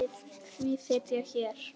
Því sit ég hér.